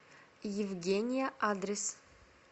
евгения адрес